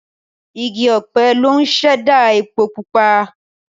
Igi ọ̀pẹ ló ń ṣẹ̀dá epo pupa.